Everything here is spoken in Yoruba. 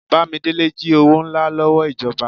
Bámidélé ji owó ńlá lòwó ijọba